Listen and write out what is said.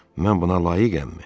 Mən buna layiqəmmi?